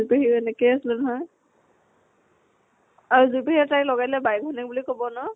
যুৰি পেহীও এনেকে আছিলে নহয়। আৰু যুৰি পেহী আৰু তাইক লগাই দিলে বায়েক ভ্নীয়েক বুলি কব ন?